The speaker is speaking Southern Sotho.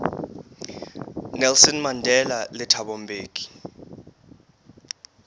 nelson mandela le thabo mbeki